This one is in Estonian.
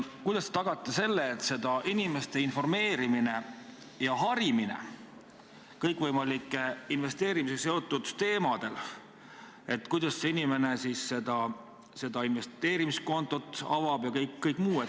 Kuidas te tagate inimeste informeerimise ja harimise kõikvõimaliku investeerimisega seotud teemadel, näiteks kuidas inimene siis selle investeerimiskonto avab ja kõik muu?